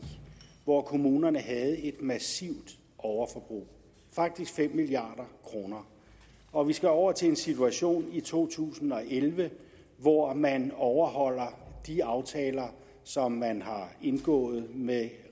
hvor kommunerne havde et massivt overforbrug faktisk fem milliard kr og vi skal over til en situation i to tusind og elleve hvor man overholder de aftaler som man har indgået med